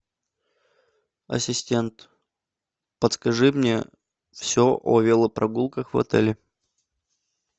ассистент подскажи мне все о велопрогулках в отеле